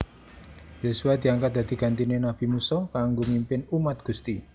Yosua diangkat dari gantiné nabi Musa kanggo mimpin umat Gusti